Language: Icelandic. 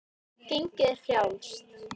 Gengið er frjálst.